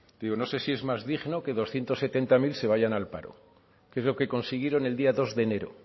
digo no sé si es más digno que doscientos setenta mil se vayan al paro que es lo que consiguieron el día dos de enero